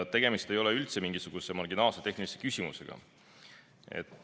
Tegemist ei ole üldse mingisuguse marginaalse tehnilise küsimusega.